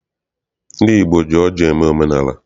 Ndị Igbo ji ọjị eme omenaala.